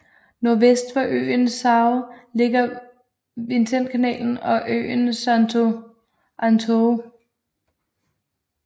Nordvest for øen ligger São Vicentekanalen og øen Santo Antão